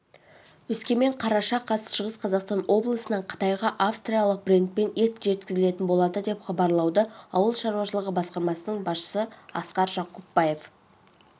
өскемен қараша қаз шығыс қазақстан облысынан қытайға австралиялық брендпен ет жеткізілетін болады деп хабарлады ауыл шаруашылығы басқармасының басшысыасқар жакупбаев